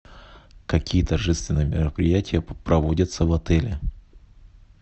какие торжественные мероприятия проводятся в отеле